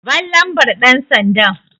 Ban lambar ɗansandan!